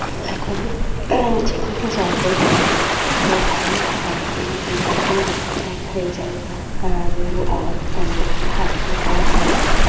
এখনও যেকোনো জায়গায় গেলে আ বাইক সাইকেল এই দুটো দেখাই যায় আর মানে পার্কিং করা থাকবেই।